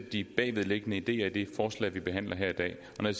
de bagvedliggende ideer i forslag vi behandler her i dag når jeg